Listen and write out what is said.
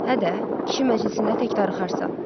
Hə də, kişi məclisində tək darıxarsan.